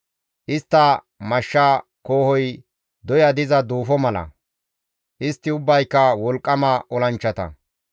Istta mashsha koohoy doya diza duufo mala; istti ubbayka wolqqama olanchchata.